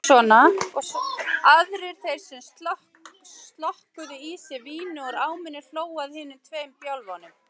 Guðmundur Steinarsson átti aukaspyrnuna en ekkert varð úr henni.